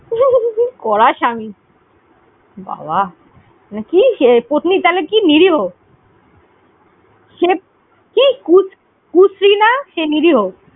এবং কড়া স্বামী কি? বাবা! পত্নী কালে কি নিরীহ? কুশ্রী না কে নিরীহ।